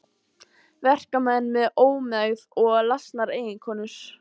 Verkamenn með ómegð og lasnar eiginkonur.